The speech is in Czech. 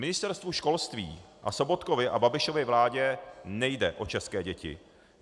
Ministerstvu školství a Sobotkově a Babišově vládě nejde o české děti.